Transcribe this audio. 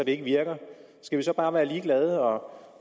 ikke virker skal vi så bare være ligeglade og